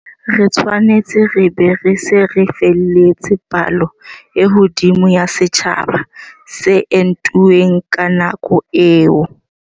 Re tshwanetse re be re se re fihlelletse palo e hodimo ya setjhaba se entuweng ka nako eo.